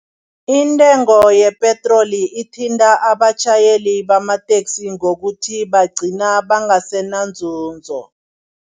Intengo yepetroli ithinta abatjhayeli bamateksi ngokuthi bagcina bangasenanzunzo.